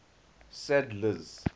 sadler's